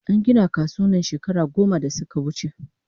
An gina kasuwan nan shekara goma da suka wuche